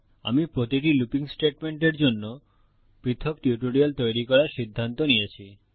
আমি প্রতিটি লুপিং স্টেটমেন্টের জন্য পৃথক টিউটোরিয়াল তৈরি করার সিদ্ধান্ত নিয়েছি